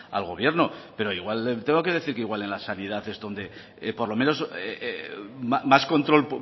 al gobierno pero igual le tengo que decir que igual en la sanidad es donde por lo menos más control